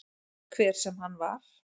Hver sem hann var.